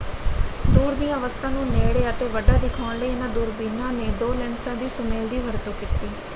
ਦੂਰ ਦੀਆਂ ਵਸਤਾਂ ਨੂੰ ਨੇੜੇ ਅਤੇ ਵੱਡਾ ਦਿਖਾਉਣ ਲਈ ਇਹਨਾਂ ਦੂਰਬੀਨਾਂ ਨੇ ਦੋ ਲੈਂਸਾ ਦੇ ਸੁਮੇਲ ਦੀ ਵਰਤੋਂ ਕੀਤੀ।